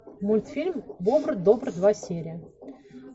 мультфильм бобр добр два серия